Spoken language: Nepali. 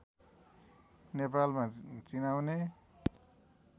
नेपालमा चिनाउने